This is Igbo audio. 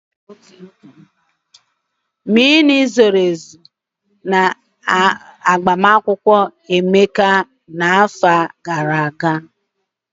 Mmiri zoro ezo nke ụkwụụ n'emume agbamakwụkwọ Emeka n'afọ gara aga.